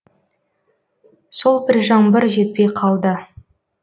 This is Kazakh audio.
сол бір жаңбыр жетпей қалды